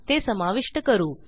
ते समाविष्ट करू